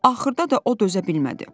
Axırda da o dözə bilmədi.